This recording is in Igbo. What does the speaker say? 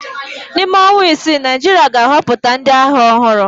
N'ime ọnwa isii, Naịjirịa ga-ahọpụta ndị agha ọhụrụ.